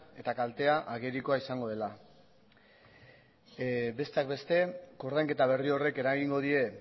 eta kaltea agerikoa izango dela besteak beste koordainketa berri horrek eragingo die